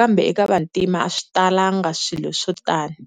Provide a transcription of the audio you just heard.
kambe eka vantima a swi talanga swilo swo tani.